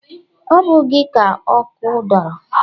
Ọ bụghị gị ka ọkụ dọrọ?